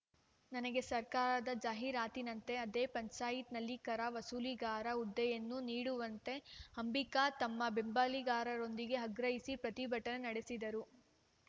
ನನಗೆ ಸರ್ಕಾರದ ಜಾಹೀರಾತಿನಂತೆ ಅದೇ ಪಂಚಾಯತ್‌ನಲ್ಲಿ ಕರ ವಸೂಲಿಗಾರ ಹುದ್ದೆಯನ್ನು ನೀಡುವಂತೆ ಅಂಬಿಕಾ ತಮ್ಮ ಬೆಂಬಲಿಗಾರರೊಂದಿಗೆ ಆಗ್ರಹಿಸಿ ಪ್ರತಿಭಟನೆ ನಡೆಸಿದರು